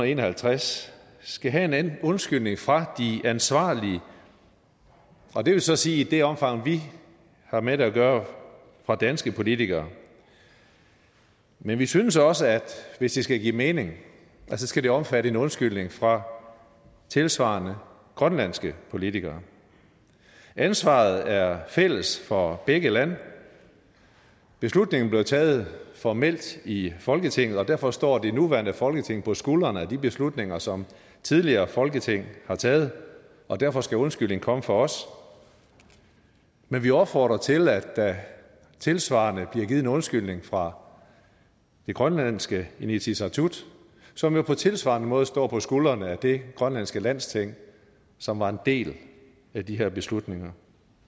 en og halvtreds skal have en undskyldning fra de ansvarlige og det vil så sige i det omfang vi har med det at gøre fra danske politikere men vi synes også at hvis det skal give mening skal det omfatte en undskyldning fra tilsvarende grønlandske politikere ansvaret er fælles for begge lande beslutningen blev taget formelt i folketinget og derfor står det nuværende folketing på skuldrene af de beslutninger som tidligere folketing har taget og derfor skal undskyldningen komme fra os men vi opfordrer til at der tilsvarende bliver givet en undskyldning fra det grønlandske inatsisartut som jo på tilsvarende måde står på skuldrene af det grønlandske landsting som var en del af de her beslutninger